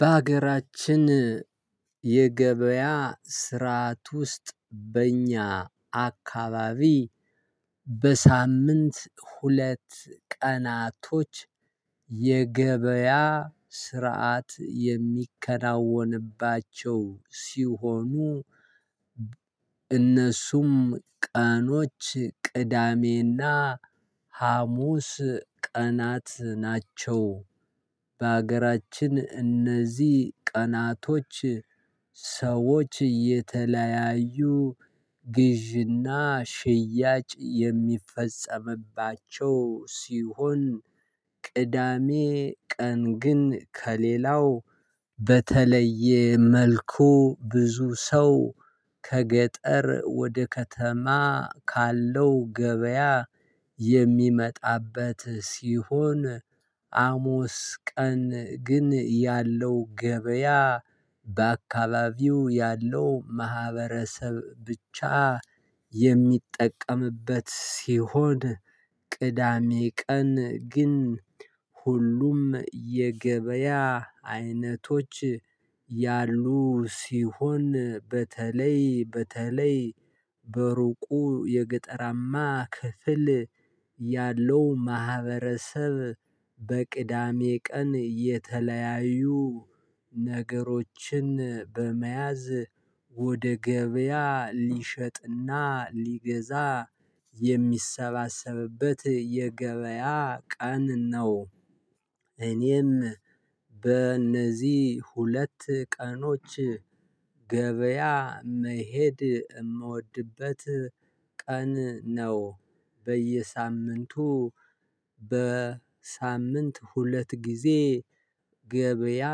በሀገራችን የገበያ ስርዓት ውስጥ በእኛ አካባቢ በሳምንት ሁለት ቀናቶች የገበያ ስርዓት የሚከናወንባቸው ሲሆኑ እነሱም ቀኖች ቅዳሜ እና ሀሙስ ቀናት ናቸው። በሀገራችን እነዚህ ቀናቶች ሰዎች የተለያዩ ግዥና ሽያጭ የሚፈጸምባቸው ሲሆን። ቅዳሜ ቀን ግን ከሌላው በተለየ መልኩ ብዙ ሰው ከገጠር ወደ ከተማ ካለው ገበያ የሚመጣበት ሲሆን። አሙስ ቀን ግን ያለው ገበያ በአካባቢው ያለው ማህበረሰብ ብቻ የሚጠቀምበት ሲሆን። ቅዳሜ ቀን ግን ሁሉም የገበያ አይነቶች ያሉ ሲሆን በተለይ በተለይ በሩቁ የገጠራማ ክፍል ያለው ማህበረሰብ በቅዳሜ ቀን የተለያዩ ነገሮችን በመያዝ ወደ ገበያ ሊሸጥና ሊገዛ የሚሰባሰብበት የገበያ ቀን ነው። እኔም በእነዚህ ሁለት ቀኖች ገበያ መሄድ እምወድበት ቀን ነው። በየሳምንቱ በሳምንት ሁለት ጊዜ ገበያ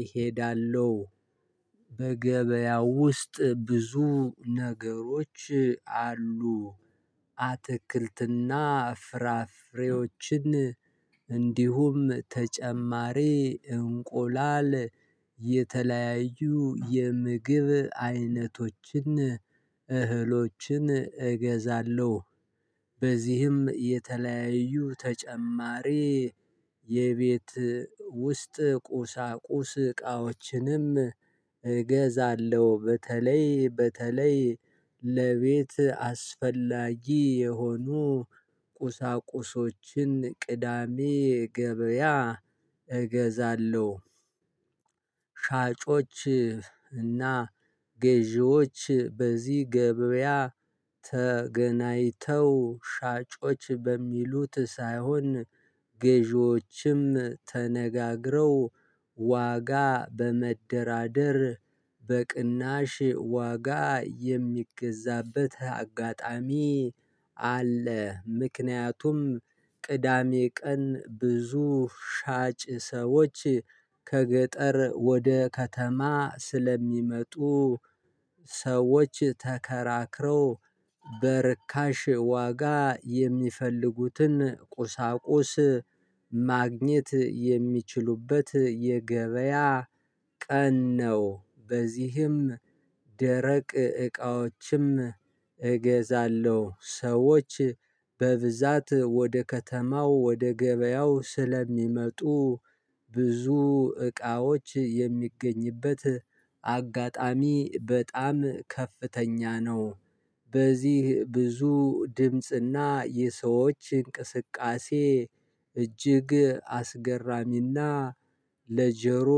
እሄዳለው። በገበያ ውስጥ ብዙ ነገሮች አሉ። አትክልትና ፍራፍሬዎችን እንዲሁም ተጨማሪ እንቆላል የተለያዩ የምግብ አይነቶችን እህሎችን እገዛለሁ። በዚህም የተለያዩ ተጨማሪ የቤት ውስጥ ቁሳቁስ እቃዎችንም እገዛለሁ በተለይ በተለይ ለቤት አስፈላጊ የሆኑ ቁሳቁሶችን ቅዳሜ ገበያ እገዛለው። ሻጮች እና ገዢዎች በዚህ ገበያ ተገናይተው ሻጮች በሚሉት ሳይሆን ገዢዎችም ተነጋግረው ዋጋ በመደራደር በቅናሽ ዋጋ የሚገዛበት አጋጣሚ አለ። ምክንያቱም ቅዳሜ ቀን ብዙ ሻጭ ሰዎች ከገጠር ወደ ከተማ ስለሚመጡ ሰዎች ተከራክረው በርካሽ ዋጋ የሚፈልጉትን ቁሳቁስ ማግኘት የሚችሉበት የገበያ ቀን ነው። በዚህም ደረቅ እቃዎችም እገዛለሁ። ሰዎች በብዛት ወደ ከተማው ወደ ገበያው ስለሚመጡ ብዙ እቃዎች የሚገኝበት አጋጣሚ በጣም ከፍተኛ ነው። በዚህ ብዙ ድምጽና የሰዎች እንቅስቃሴ እጅግ አስገራሚና ለጀሮ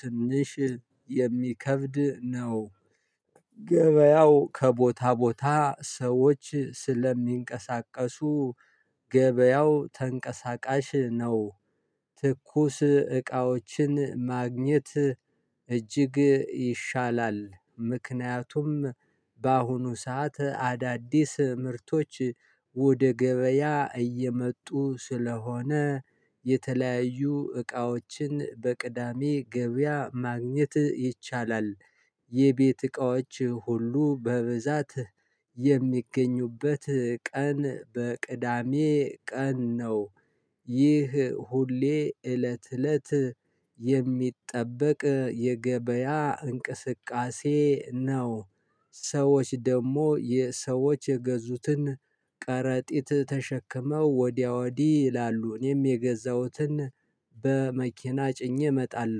ትንሽ የሚከብድ ነው። ገበያው ከቦታ ቦታ ሰዎች ስለሚንቀሳቀሱ ገበያው ተንቀሳቃሽ ነው። ትኩስ እቃዎችን ማግኘት እጅግ ይሻላል ምክንያቱም በአሁኑ ሰዓት አዳዲስ ምርቶች ወደ ገበያ እየመጡ ስለሆነ የተለያዩ እቃዎችን በቅዳሜ ገበያ ማግኘት ይቻላል። የቤት እቃዎች ሁሉ በብዛት የሚገኙበት ቀን በቅዳሜ ቀን ነው። ይህ ሁሌ እለት እለት የሚጠበቅ የገበያ እንቅስቃሴ ነው። ሰዎች ደግሞ የሰዎች የገዙትን ቀረጢት ተሸክመው ወዲያ ወዲህ ይላሉ እኔም የገዛሁትን በመኪና ጭኜ እመጣለሁ